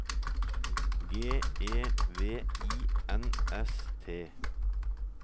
G E V I N S T